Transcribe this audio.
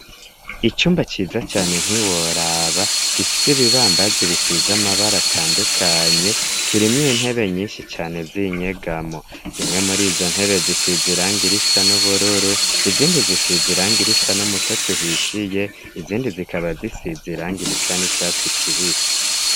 Icumba ciza cane ntiworaba gifise ibibambazi bisiza amabara atandukanye kirimwo intebe nyinshi cane zinyegamo, zimwe muri zo ntebe zisizirangirisa n'ubururu izindi zisiziranga irisa n'umutotuhishiye izindi zikaba zisi ziranga irisa n'icatsi kibisi.